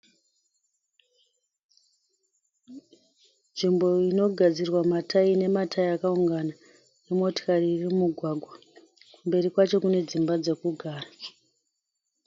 Nzvimbo iyi inogadzirwa matayi ine matayi akawungana nemotokari iri mumugwagwa. Mberi kwayo kune dzimba dzokugara.